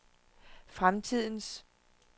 fremtidens